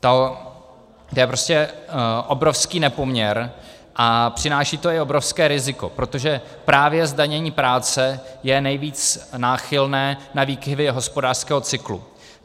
To je prostě obrovský nepoměr a přináší to i obrovské riziko, protože právě zdanění práce je nejvíc náchylné na výkyvy hospodářského cyklu.